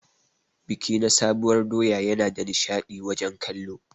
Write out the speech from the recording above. Biki na sabuwar doya Yana da nishadi wajen kallo.